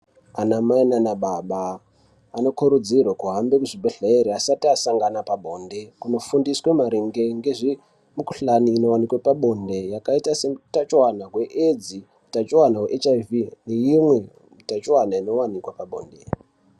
Anamai naanababa ,anokurudzirwe kuhambe muzvibhedhlere asati asangana pabonde ,kunofundiswe maringe ngezvimikhuhlani inowanikwe pabonde yakaita seutachiwana hweAIDS ,utachiwana hweHIV, neimwe utachiwana inowanika pabonde.